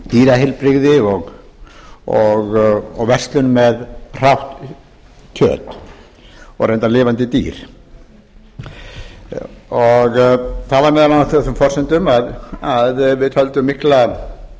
dýraheilbrigði og verslun með hrátt kjöt og reyndar lifandi dýr það var meðal annars á þessum forsendum að við töldum mikla